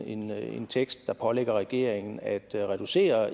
en tekst der pålægger regeringen at reducere